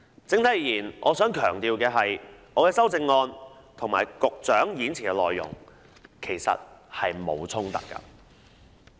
整體而言，我想強調，我的修訂議案和局長演辭的內容其實並無衝突。